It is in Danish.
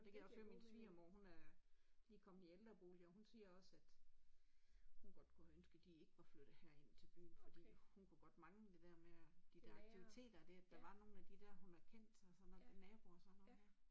Det kan jeg også høre min svigermor hun er lige kommet i ældrebolig og hun siger også at hun godt kunne have ønsket de ikke var flyttet herind til byen fordi hun kunne godt mangle det der med at de der aktiviteter det at der med at var nogle af de der hun har kendt og sådan naboer og sådan noget der